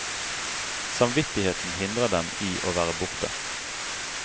Samvittigheten hindrer dem i å være borte.